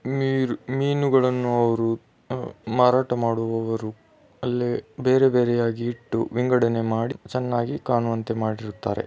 ನೀರ್ ಮೀನುಗಳನ್ನು ಅವರು ಮಾರಾಟ ಮಾಡುವವರು ಅಲ್ಲಿ ಬೇರೆ ಬೇರೆಯಾಗಿ ಇಟ್ಟು ವಿಂಗಡಣೆ ಮಾಡಿ ಚೆನ್ನಾಗಿ ಕಾಣುವಂತೆ ಮಾಡಿರುತ್ತಾರೆ.